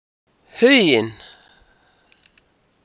Huginn